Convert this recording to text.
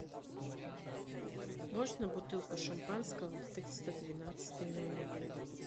можно бутылку шампанского в триста двенадцатый номер